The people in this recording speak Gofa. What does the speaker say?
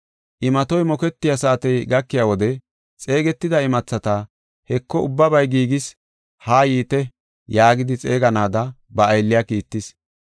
Imatoy moketiya saatey gakiya wode, xeegetida imathata, ‘Heko ubbabay giigis, haa yiite’ yaagidi xeeganaada ba aylliya kiittis.